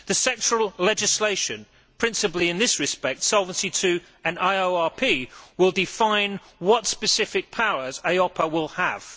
The sectoral legislation, principally in this respect Solvency II and IORP, will define what specific powers EIOPA will have.